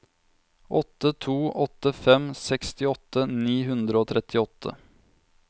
åtte to åtte fem sekstiåtte ni hundre og trettiåtte